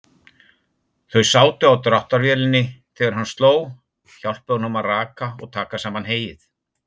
Þau sátu á dráttarvélinni þegar hann sló, hjálpuðu honum að raka og taka saman heyið.